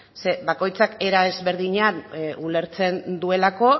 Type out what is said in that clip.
bakoitzak era ezberdinean ulertzen duelako